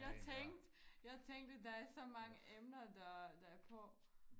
Jeg tænkte jeg tænkte der er så mange emner der der er på